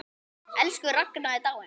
Elsku Ragna er dáin.